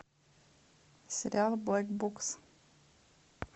сериал блэк букс